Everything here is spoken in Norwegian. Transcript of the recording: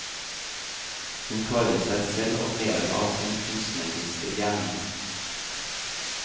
Hun klarer seg selv og lever av sin kunstneriske gjerning.